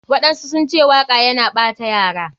Waɗansu sunce waka yana ɓata yara.